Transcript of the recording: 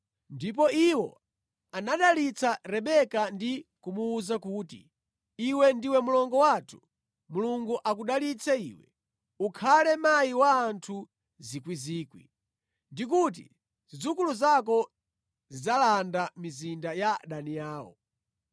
Ndipo iwo anadalitsa Rebeka ndi kumuwuza kuti, “Iwe ndiwe mlongo wathu, Mulungu akudalitse iwe, ukhale mayi wa anthu miyandamiyanda; ndi kuti zidzukulu zako zidzalanda mizinda ya adani awo.”